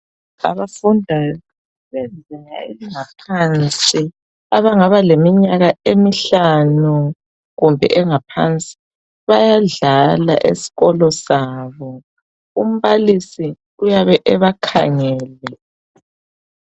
Abafundayo kwezinga elingaphansi abangaba leninyakanemihlanu kumbe engaphansi bayadlala esikolo sabo umbalisi uyabe ebakhangele.